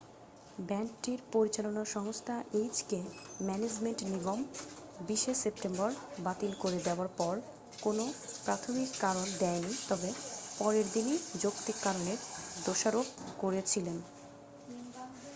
ব্যান্ডটির পরিচালনা সংস্থা H K management নিগম 20'ই সেপ্টেম্বর বাতিল করে দেওয়ার পর কোনও প্রাথমিক কারণ দেয়নি তবে পরের দিনেই যৌক্তিক কারণের দোষারপ করেছিলেন।